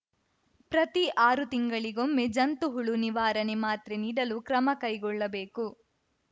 ಪ್ರತಿ ಆರು ತಿಂಗಳಿಗೊಮ್ಮೆ ಜಂತು ಹುಳು ನಿವಾರಣೆ ಮಾತ್ರೆ ನೀಡಲು ಕ್ರಮ ಕೈಗೊಳ್ಳಬೇಕು